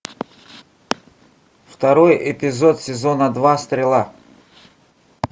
второй эпизод сезона два стрела